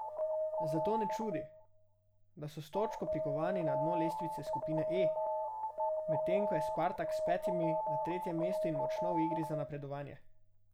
Zato ne čudi, da so s točko prikovani na dno lestvice skupine E, medtem ko je Spartak s petimi na tretjem mestu in močno v igri za napredovanje.